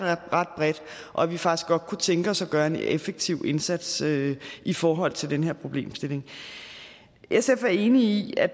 ret bredt og at vi faktisk godt kunne tænke os at gøre en effektiv indsats i forhold til den her problemstilling sf er enig i at